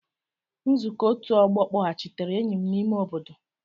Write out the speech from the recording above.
Nzukọ ọtu ogbo kpọghachitere enyi m n'ime obodo.